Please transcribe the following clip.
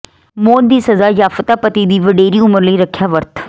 ਮੌਤ ਦੀ ਸਜ਼ਾ ਯਾਫਤਾ ਪਤੀ ਦੀ ਵਡੇਰੀ ਉਮਰ ਲਈ ਰੱਖਿਆ ਵਰਤ